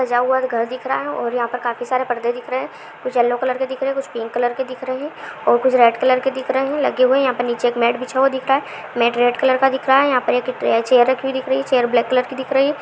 सजा हुआ घर दिख रहा है और यहां पर काफी सारे पर्दे दिख रहे हैं कुछ येलो कलर के दिख रहे हैं कुछ पिंक कलर के दिख रहे हैं और कुछ रेड कलर के दिख रहे हैं लगे हुए यहां पर नीचे एक मैट बिछा हुआ दिख रहा है यहां पर एक चेयर रखी हुई दिख रही है चेयर ब्लैक कलर की दिख रही है।